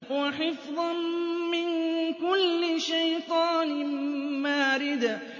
وَحِفْظًا مِّن كُلِّ شَيْطَانٍ مَّارِدٍ